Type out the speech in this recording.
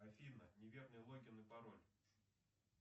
афина неверный логин и пароль